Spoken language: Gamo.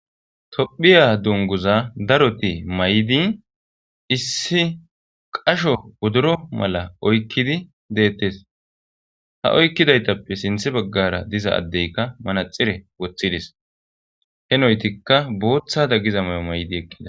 Tophiya dungguza daroti mayidi issi qasho wodoro mala oykidi de7eetes ha oykidaytape issinozi manaxire woththided henoytika booththada giza mayo mayida.